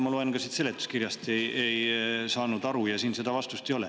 Ma loen seletuskirja ja ka siit ei saa sellest aru, seda vastust siin ei ole.